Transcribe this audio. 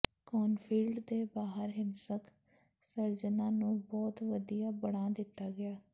ਕੋਨਫੀਲਡ ਦੇ ਬਾਹਰ ਹਿੰਸਕ ਸਰਜਨਾਂ ਨੂੰ ਬਹੁਤ ਵਧੀਆ ਬਣਾ ਦਿੱਤਾ ਗਿਆ